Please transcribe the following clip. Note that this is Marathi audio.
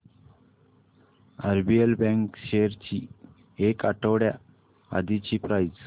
आरबीएल बँक शेअर्स ची एक आठवड्या आधीची प्राइस